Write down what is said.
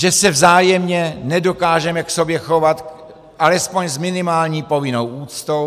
Že se vzájemně nedokážeme k sobě chovat alespoň s minimální povinnou úctou?